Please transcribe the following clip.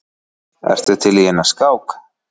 Ertu til í eina skák?